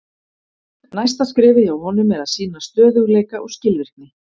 Næsta skrefið hjá honum er að sýna stöðugleika og skilvirkni.